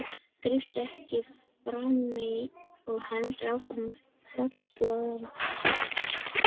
grípur Eiki fram í og heldur áfram að falbjóða blaðið.